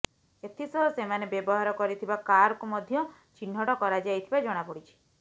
ଏଥିସହ ସେମାନେ ବ୍ୟବହାର କରିଥିବା କାରକୁ ମଧ୍ୟ ଚିହ୍ନଟ କରାଯାଇଥିବା ଜଣାପଡ଼ିଛି